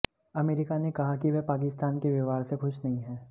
America ने कहा कि वह पाकिस्तान के व्यवहार से खुश नहीं है